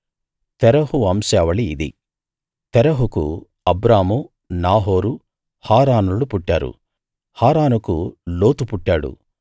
తెరహు వంశావళి ఇది తెరహుకు అబ్రాము నాహోరు హారానులు పుట్టారు హారానుకు లోతు పుట్టాడు